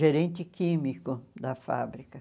gerente químico da fábrica.